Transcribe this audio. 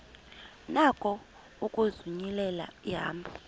nako ukuzinyulela ihambo